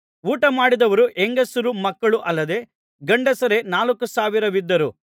ಊಟಮಾಡಿದವರು ಹೆಂಗಸರು ಮಕ್ಕಳು ಅಲ್ಲದೆ ಗಂಡಸರೇ ನಾಲ್ಕು ಸಾವಿರವಿದ್ದರು